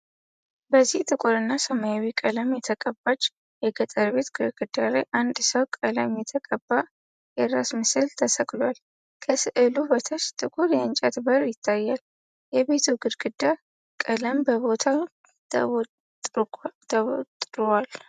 በዚህ ጥቁርና ሰማያዊ ቀለም የተቀባች የገጠር ቤት ግድግዳ ላይ አንድ ሰው ቀለም የተቀባ የራስ ምስል ተሰቅሏል። ከሥዕሉ በታች ጥቁር የእንጨት በር ይታያል፤ የቤቱ ግድግዳ ቀለም በቦታው ተቦጥሯል።